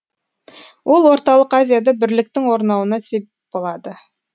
ол орталық азияда бірліктің орнауына сеп болады